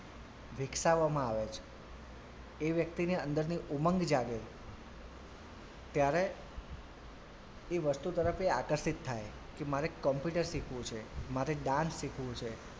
વિકસાવવામાં આવે છે એ વ્યક્તિની અંદરની ઉમંગ જાગે છે ત્યારે એ વસ્તુ તરફ એ આકર્ષિત થાય કે મારે computer શીખવું છે મારે dance શીખવું છે.